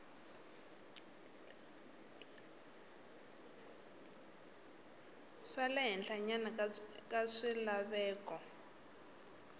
xa le henhlanyana bya swilaveko